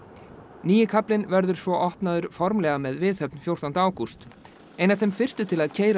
nýi kaflinn verður svo opnaður formlega með viðhöfn fjórtánda ágúst ein af þeim fyrstu til að keyra